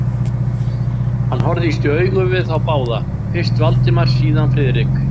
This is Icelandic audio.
Hann horfðist í augu við þá báða, fyrst Valdimar, síðan Friðrik.